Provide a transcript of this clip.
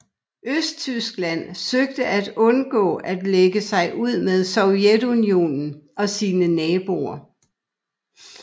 Østtyskland søgte at undgå at lægge sig ud med Sovjetunionen og sine naboer